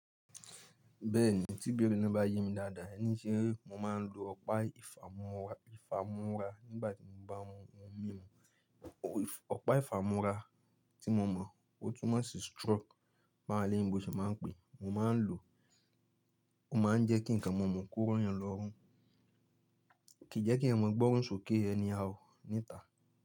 Bẹ́ẹ̀ni, tí bẹ́erẹ̀ naa bá yé mi dáadáa e ní ṣe mo máa ń lo ọ̀pá ìfàmúra nígbà tí mo bá mú omi Ọ̀pá ìfàmúra tí mo mọ̀, ó tún mo ń ṣi stroke bá won elèyinbo ṣe máa ń pé, mo máa ń lo, ó máa ń jẹ́ kí nǹkan mo mú kúrò eyan lọ́rùn, kì jẹ́ kí ẹ̀yan gbọ́run sókè anyhow níta.